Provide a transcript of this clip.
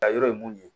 Ka yɔrɔ ye mun ye